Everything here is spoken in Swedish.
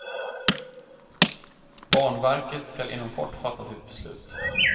Banverket skall inom kort fatta sitt beslut.